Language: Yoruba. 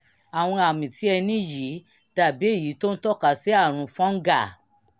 àwọn àmì tí ẹ ní yìí dàbí èyí tó ń tọ́ka sí àrùn fungal